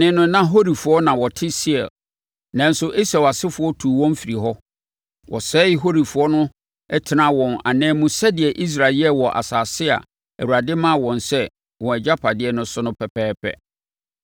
Kane no na Horifoɔ na wɔte Seir, nanso Esau asefoɔ tuu wɔn firii hɔ. Wɔsɛee Horifoɔ no tenaa wɔn ananmu sɛdeɛ Israel yɛɛ wɔ asase a Awurade de maa wɔn sɛ wɔn agyapadeɛ no so no pɛpɛɛpɛ.